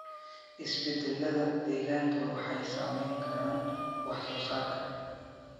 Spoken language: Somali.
Isbeddellada deegaanka waxay saameyn karaan wax soo saarka.